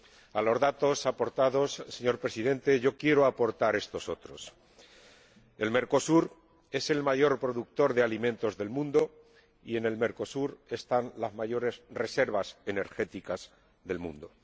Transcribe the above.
A los datos aportados, señor Presidente, yo quiero aportar estos otros Mercosur es el mayor productor de alimentos del mundo y en Mercosur están las mayores reservas energéticas del mundo.